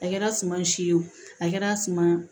A kɛra suman si ye wo a kɛra suma